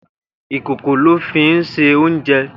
Ikókó lò fi n sé óunjè